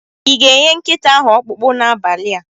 I ga-enye nkịta ahụ ọkpụkpụ n'abalị a?